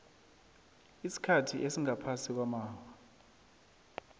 isikhathi esingaphasi kwamaawa